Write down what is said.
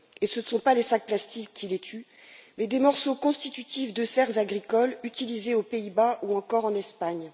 Et ce ne sont pas des sacs plastiques qui les tuent, mais des morceaux constitutifs de serres agricoles utilisées aux Pays Bas ou encore en Espagne.